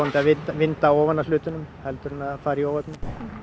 vinda af hlutunum heldur en að það fari í óefni